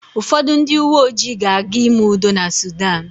Ụfọdụ ndị uwe ojii ga-aga ime udo na Sudan.